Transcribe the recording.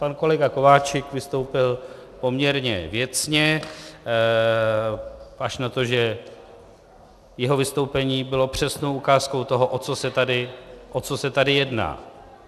Pan kolega Kováčik vystoupil poměrně věcně až na to, že jeho vystoupení bylo přesnou ukázkou toho, o co se tady jedná.